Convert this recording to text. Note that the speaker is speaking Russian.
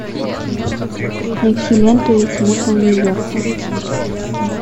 найти ленту этим утром в нью йорке